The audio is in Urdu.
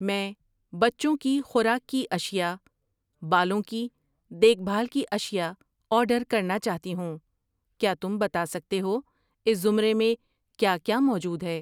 میں بچوں کی خوراک کی اشیاء, بالوں کی دیکھ بھال کی اشیاء آرڈر کرنا چاہتی ہوں، کیا تم بتا سکتے ہو اس زمرے میں کیا کیا موجود ہے؟